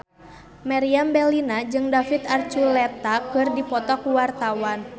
Meriam Bellina jeung David Archuletta keur dipoto ku wartawan